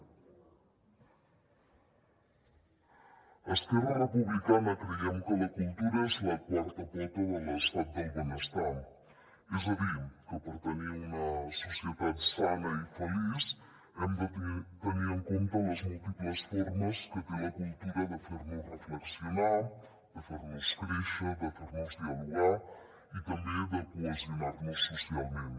a esquerra republicana creiem que la cultura és la quarta pota de l’estat del benestar és a dir que per tenir una societat sana i feliç hem de tenir en compte les múltiples formes que té la cultura de fer nos reflexionar de fer nos créixer de fer nos dialogar i també de cohesionar nos socialment